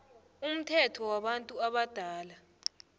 umthetho wabantu abadala